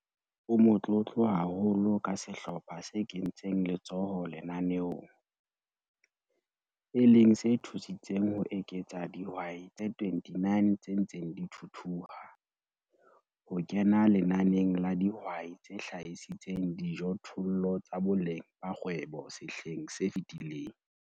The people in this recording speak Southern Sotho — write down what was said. O motlotlo haholo ka sehlopha se kentseng letsoho lenaneong, e leng se thusitseng ho eketsa dihwai tse 29 tse ntseng di thuthuha, ho kena lenaneng la dihwai tse hlahisitseng dijothollo tsa boleng ba kgwebo sehleng se fetileng.